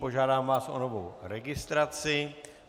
Požádám vás o novou registraci.